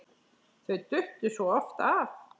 Þau duttu svo oft af.